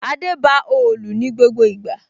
Adé ba òòlù ní gbogbo ìgbà